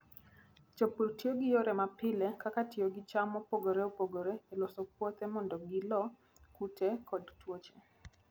Jopur tiyo gi yore mapile kaka tiyo gi cham mopogore opogore e loso puothe mondo gilo kute kod tuoche.